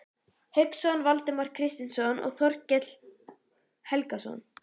Hauksson, Valdimar Kristinsson og Þorkell Helgason.